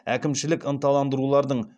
әкімшілік ынталандырулардын